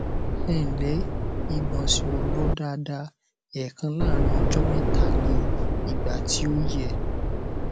ẹǹlẹ ìgbọnsẹ ò lọ daada èèkan láàárín ọjọ mẹta ní ìgbà tí ò yẹ